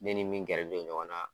Ne ni min gɛrɛ don ɲɔgɔn na